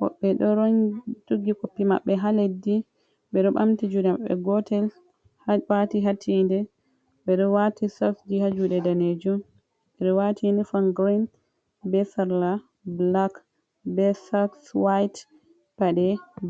woɓɓe ɗo rongi joki koppi maɓɓe ha leddi ɓeɗo bamti juɗe maɓɓe gotel ha dow wati hatinde ɓeɗo wati SOS ji ha juɗe danejum ɓeɗo wati ini fom girin be sarla bulak be soks wati paɗe.